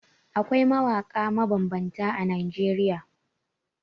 Akwai mawaƙa mabambanta a Najeriya.